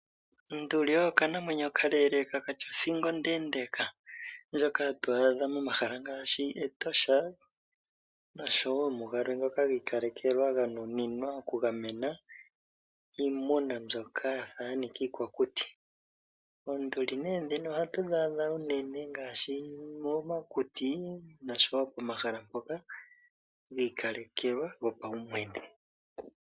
Onduli oyo okanamwenyo okalele ka katya othingo ondendeka, ndjoka hatu adha momahala ngaashi Etosha nosho woo mugalwe ngoka giikalekelwa ga nuninwa oku gamena iimuna mbyoka yafa yanika iikwakuti. Oonduli nee dhino oha tu dhi adha uunene ngaashi momakuti nosho woo momahala ngoka giikalekelwa gopawumwene.